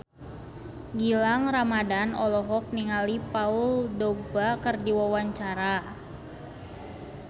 Gilang Ramadan olohok ningali Paul Dogba keur diwawancara